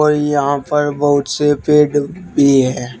और यहां पर बहुत से पेड़ भी है।